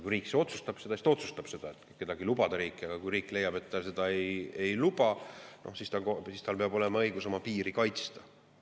Kui riik, siis ta otsustab kedagi lubada riiki, aga kui riik leiab, et ta seda ei, siis tal peab olema õigus oma piiri kaitsta.